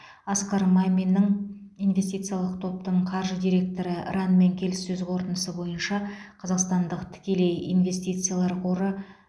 асқар маминнің инвестициялық топтың қаржы директоры ранмен келіссөз қорытындысы бойынша қазақстандық тікелей инвестициялар қоры